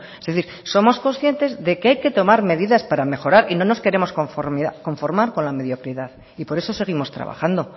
es decir somos conscientes de que hay que tomar medidas para mejorar y no nos queremos conformar con la mediocridad y por eso seguimos trabajando